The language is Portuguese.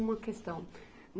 Uma questão.